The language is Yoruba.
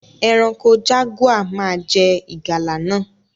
Eranko jaguar má je ìgalà náà